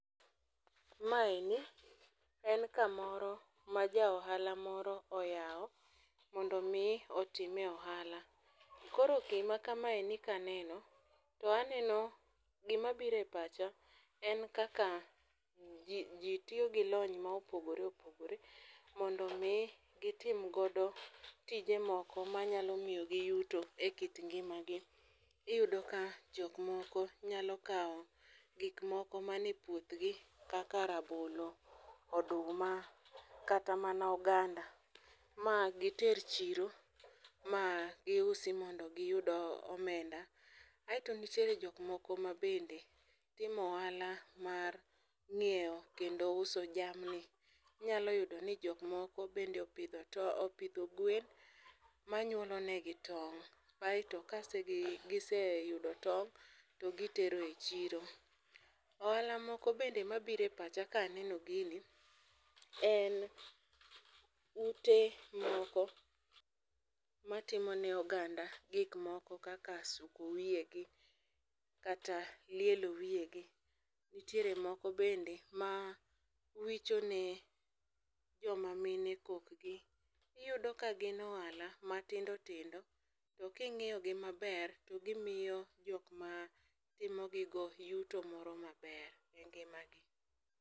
Maeni en kamoro ma jaohala moro oyao mondo mi otime ohala. Koro gima kamaeni kaneno to aneno gima biro epacha en kaka ji tio gi lony mopogore opogore mondo mi gitim godo tije moko manyalo miyo gi yuto e kit ngima gi. Iyudo ka jokmoko nyalo kao gikmoko mani puodhgi kaka rabolo, oduma, kata mana oganda magiter chiro magiusi mondo giyud omenda. Ae to nitiere jokmoko mabende timo ohala mar ng'iew kendo uso jamni. Inyalo yudo ni jokmoko bende opidho gwen manyuolo ne gi tong'. Kaeto kagiseyudo tong' to gitero e chiro. Ohala moko bende mabiro e pacha kaneno gini, en ute moko matimo ne oganda gikmoko kaka suko wie gi kata lielo wie gi. Nitiere moko bende mawicho ne jomamine kokgi. Iyudo ka gin ohala matindo tindo, to kiing'iyo gi maber, to gimiyo jokma timo gigo yuto moro maber e ngima gi.